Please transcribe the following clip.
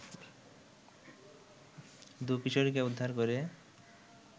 দুই কিশোরীকে উদ্ধার করে